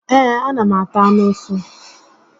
Ee, a na m ata anụ ụsụ